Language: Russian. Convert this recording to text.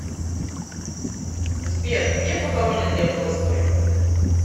сбер где похоронен лев толстой